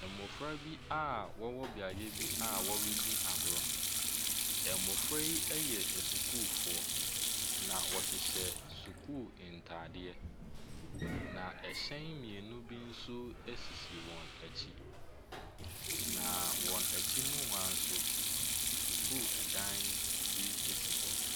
Mmɔfra bi a wɔwɔ beaeu bi a wɔredi agorɔ. Mmɔfra yi yɛ asukuudoɔ na wɔhyehyɛ sukuu ntaadeɛ. Na hyɛn mmienu bi nso sisi wɔn akyi. Na wɔn akyi no ho ara no nso, sukuu dan bi si wɔ.